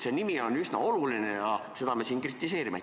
Nimi on siiski üsna oluline ja seda me siin kritiseerimegi.